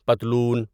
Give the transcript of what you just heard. پتلون